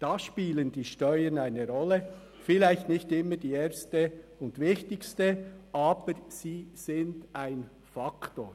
Da spielen die Steuern eine Rolle, vielleicht nicht die erste und wichtigste, aber sie sind ein Faktor.